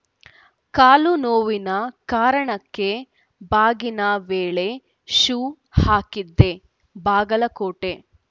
ಕಾಲು ನೋವಿನ ಕಾರಣಕ್ಕೆ ಬಾಗಿನ ವೇಳೆ ಶೂ ಹಾಕಿದ್ದೆ ಬಾಗಲಕೋಟೆ